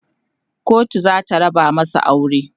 kotu zata raba masu aure